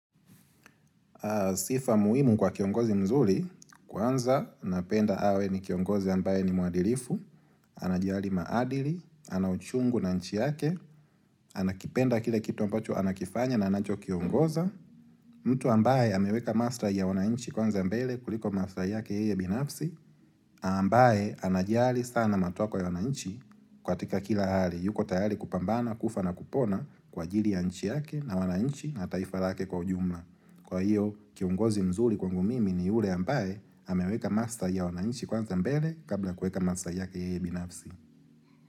Sifa muhimu kwa kiongozi mzuli, kwanza napenda awe ni kiongozi ambaye ni muadilifu, anajiali maadili, ana uchungu na nchi yake, anakipenda kile kitu ambacho anakifanya na anacho kiongoza, mtu ambaye ameweka maslai ya wanainchi kwanza mbele kuliko maslai yake ye binafsi, ambaye anajali sana matoko ya wananchi katika kila hali, yuko tayali kupambana, kufa na kupona kwa jili ya nchi yake na wanainchi na taifa lake kwa ujumla. Kwa hio, kiongozi mzuri kwangu mimi ni ule ambaye, hameweka maslai ya wananchi kwanza mbele kabla kueka maslai yake yeye binafsi.